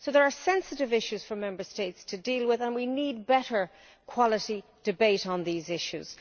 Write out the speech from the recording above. So there are sensitive issues for Member States to deal with and we need better quality debate on these issues.